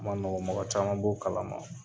O ma nɔgɔn, mɔgɔ caman b'o kalama.